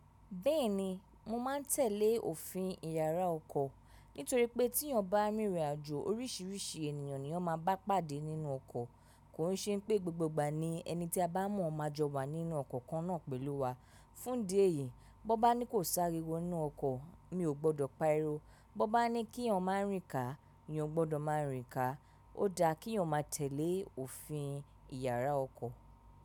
Bẹ́ẹ̀ni, mo máa ń tẹ̀lé òfin ìyàrá ọkọ̀ nítorí pé tí èèyàn bá rìnrìn àjò oríṣiríṣi ènìyàn ni wọn máa bá pàdé nínú ọkọ̀. Kò n ṣe pé gbogbo ìgbà ni ẹni tí a bá mọ̀ máa jọ wà nínú ọkọ̀ kan náà pẹ̀lú wa. Fúndí ẹ̀yìí, bọ́ bá ní kò sáré wọ inú ọkọ̀, mi ò gbọ́dọ̀ paríwo. Bọ́ bá ní kí èèyàn máa rìn ká, ni ọ gbọ́dọ̀ máa rìn ká. Ó dáa kí èèyàn máa tẹ̀lé òfin ìyàrá ọkọ̀